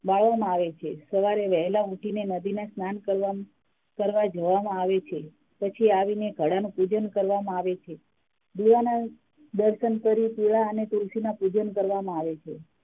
વાળવા માં આવે છે સવારે વહેલા ઉઠી ને નદીમાં સ્નાન કરવા કરવા જવામાં આવે છે પછી આવી ને ઘડા નુ પૂજન કરવામાં આવે છે દીવા ના દર્સન કરી કેળા અને તુલસી ના પૂજન કરવામાં આવે છે